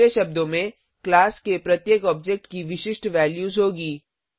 दूसरे शब्दो में क्लास के प्रत्येक ऑब्जेक्ट की विशिष्ट वैल्यूज होगी